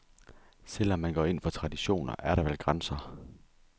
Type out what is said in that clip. Selv om man går ind for traditioner, er der vel grænser.